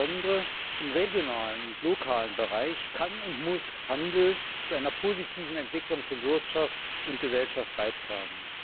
Insbesondere im regionalen und lokalen Bereich kann und muss Handel zu einer positiven Entwicklung von Wirtschaft und Gesellschaft beitragen.